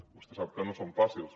vostè sap que no són fàcils